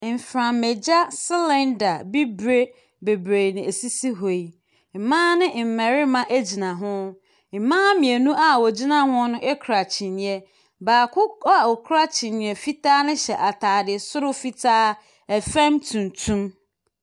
Mframagya cylinder bibire bebree na ɛsisi hɔ yi. Mmaa ne mmarima gyina ho. Mmaa mmienu a wɔgyina ho no kura kyiniiɛ. Baako a ɔkura kyiniiɛ fitaa no hyɛ adate soro fitaa, fam tuntum.